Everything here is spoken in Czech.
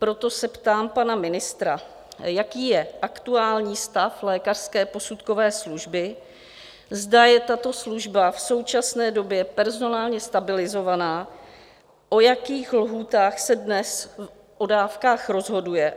Proto se ptám pana ministra: Jaký je aktuální stav lékařské posudkové služby, zda je tato služba v současné době personálně stabilizovaná, v jakých lhůtách se dnes o dávkách rozhoduje?